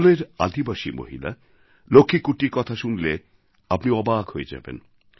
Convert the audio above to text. কেরলের আদিবাসী মহিলা লক্ষ্মী কুট্টীর কথা শুনলে আপনি অবাক হয়ে যাবেন